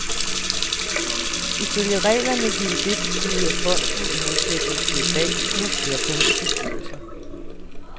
Ifølge reglerne ville det betyde, at fonden, i modsætning til i dag, skulle have flertal i bestyrelsen.